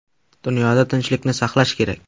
Dunyoda tinchlikni saqlash kerak.